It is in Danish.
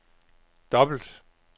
dobbelt